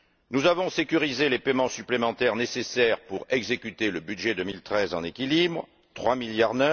Nous avons sécurisé les paiements supplémentaires nécessaires pour exécuter le budget 2013 en équilibre 3,9 milliards.